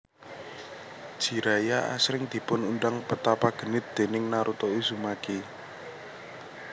Jiraiya asring dipun undang Petapa Genit déning Naruto Uzumaki